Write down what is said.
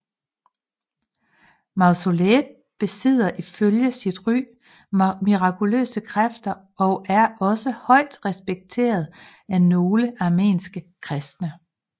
Mausoleet besidder ifølge sit ry mirakuløse kræfter og er også højt respekteret af nogle armenske kristne